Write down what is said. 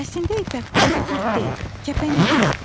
Əslində ipək qurdu qurd deyil, kəpənəkdir.